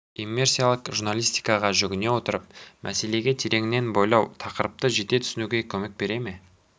иммерсиялық журналистикаға жүгіне отырып мәселеге тереңінен бойлау тақырыпты жете түсінуге көмек бере ме